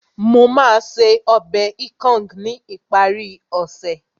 Mo máa ṣe ọbẹ̀ ikong ní ìparí ọ̀sẹ̀